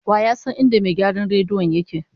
Wa ya san inda mai gyaran rediyon yake zama?